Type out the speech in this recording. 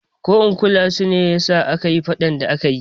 Ko in kulan su ne yasa akayi faɗan da akayi